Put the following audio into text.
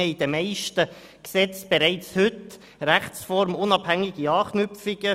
In den meisten Gesetzen haben wir bereits heute rechtsformunabhängige Anknüpfungen.